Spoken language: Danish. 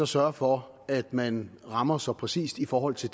sørger for at man rammer så præcist i forhold til